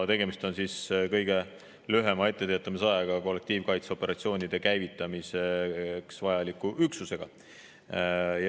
Tegemist on kõige lühema etteteatamisajaga kollektiivkaitseoperatsioonide käivitamiseks vajaliku üksusega.